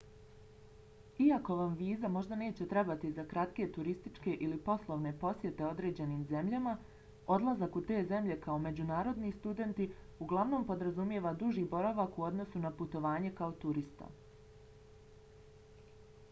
iako vam viza možda neće trebati za kratke turističke ili poslovne posjete određenim zemljama odlazak u te zemlje kao međunarodni student uglavnom podrazumijeva duži boravak u odnosu na putovanje kao turista